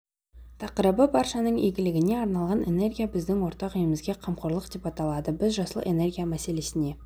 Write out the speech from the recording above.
тақырыбы баршаның игілігіне арналған энергия біздің ортақ үйімізге қамқорлық деп аталады біз жасыл энергия мәселесіне